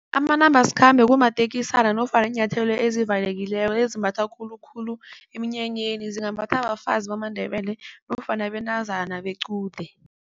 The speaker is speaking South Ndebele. Amanambasikhambe kumatekisana nofana iinyathelo ezivalekileko ezimbathwa khulukhulu emnyanyeni, zingambathwa bafazi bamaNdebele nofana bentazana bequde.